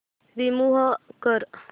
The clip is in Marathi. रिमूव्ह कर